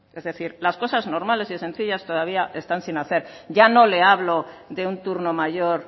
es decir las cosas normales y sencillas todavía están sin hacer ya no le hablo de un turno mayor